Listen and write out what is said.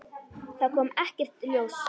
Það kom ekkert ljós.